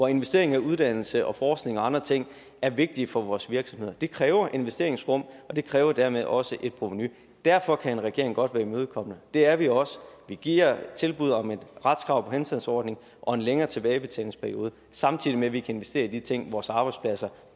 at investering i uddannelse og forskning og andre ting er vigtige for vores virksomheder det kræver investeringsrum og det kræver dermed også et provenu derfor kan en regering godt være imødekommende det er vi også vi giver tilbud om et retskrav på henstandsordning og en længere tilbagebetalingsperiode samtidig med at vi kan investere i de ting vores arbejdspladser